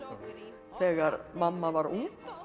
þegar mamma var ung